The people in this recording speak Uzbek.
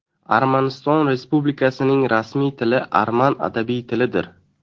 Armaniston Respublikasining rasmiy tili arman adabiy tilidir.